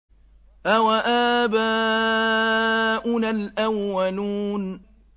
أَوَآبَاؤُنَا الْأَوَّلُونَ